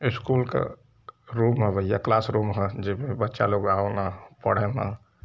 School क room ह भईया। क्लास रूम ह जेमे बच्चा लोग आवे न पढ़े न।